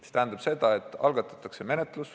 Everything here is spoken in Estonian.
See tähendab seda, et PPA algatab menetluse.